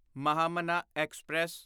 Mahamana express